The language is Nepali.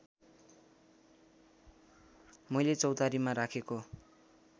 मैले चौतारीमा राखेको